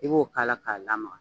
I b'o k'a la k'a lamaga